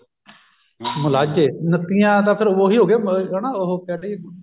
ਮੁਲਾਝੇ ਨੱਤੀਆਂ ਤਾਂ ਫ਼ੇਰ ਉਹੀ ਹੋਗਿਆ ਹਨਾ ਉਹ ਕਹਿਦੇ